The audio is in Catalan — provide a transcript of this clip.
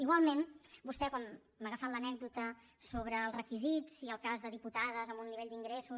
igualment vostè quan m’ha agafat l’anècdota sobre els requisits i el cas de diputades amb un nivell d’ingressos